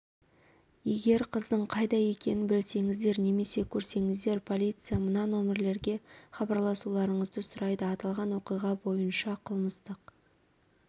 егер қыздың қайда екенін білсеңіздер немесе көрсеңіздер полиция мына нөмірлерге хабарласуларыңызды сұрайды аталған оқиға бойынша қылмыстық